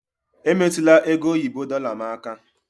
Emetụla ego oyibo dorlar m aka!